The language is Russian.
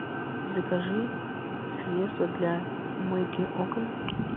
закажи средство для мойки окон